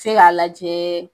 Se k'a lajɛ